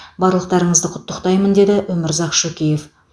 барлықтарыңызды құттықтаймын деді өмірзақ шөкеев